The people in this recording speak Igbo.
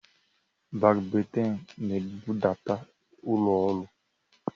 Bakbaitịn na-ebudata ụlọ ọrụ